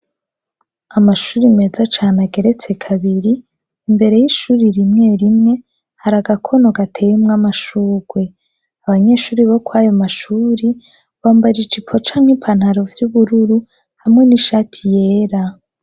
Amashuri meza cane ageretse kabiri, imbere y’ishuri rimwe rimwe, har’agakono gateyemw’amashugwe, abanyeshure bo kwayo mashuri bambara ijipo cank’ipantaro vy’ubururu hamwe n’ishati yera.